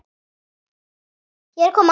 Ég er að koma.